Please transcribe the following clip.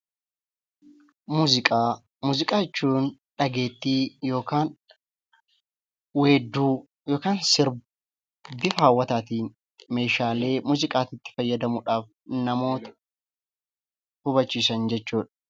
Muuziqaa. Muuziqaa jechuun dhageettii yookiin weedduu yookiin sirba bifa hawwataatiin meeshaalee muuziqaatti fayyadamuudhaan namoota hubachiisan jechuudha.